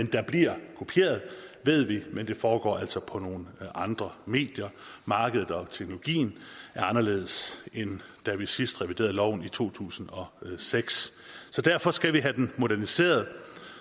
der bliver kopieret ved vi men det foregår altså på nogle andre medier markedet og teknologien er anderledes end da vi sidst reviderede loven i to tusind og seks så derfor skal vi have den moderniseret